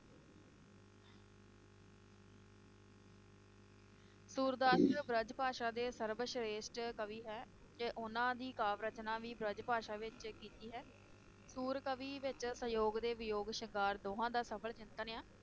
ਸੂਰਦਾਸ ਜੀ ਬ੍ਰਿਜ ਭਾਸ਼ਾ ਦੇ ਸਰਵ ਸ਼੍ਰੇਸ਼ਠ ਕਵੀ ਹੈ ਤੇ ਉਹਨਾਂ ਦੀ ਕਾਵ ਰਚਨਾ ਵੀ ਬ੍ਰਿਜ ਭਾਸ਼ਾ ਵਿਚ ਕੀਤੀ ਹੈ ਸੁਰ ਕਵੀ ਵਿਚ ਸਯੋਗ ਤੇ ਵਿਯੋਗ ਸ਼ਿੰਗਾਰ ਦੋਹਾਂ ਦਾ ਸਫ਼ਰ-ਚਿੰਤਨ ਆ